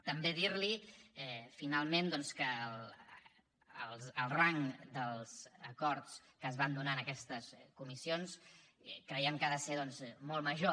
també dir li finalment doncs que el rang dels acords que es van donar en aquestes comissions creiem que ha de ser molt major